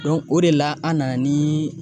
o de la an nana ni